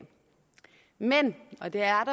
men og der